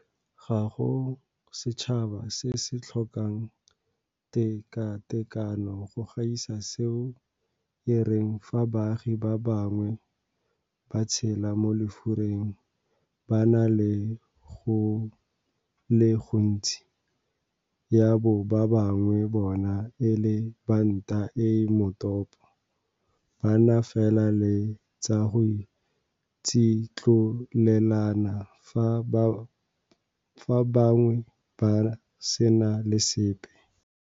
Ga go setšhaba se se tlhokang tekatekano go gaisa seo e reng fa baagi ba bangwe ba tshelela mo lefureng ba na le go le gontsi, ya bo ba bangwe bona e le ba nta e e motopo ba na fela le tsa go tsitlolelana fa ba bangwe ba sena le sepe.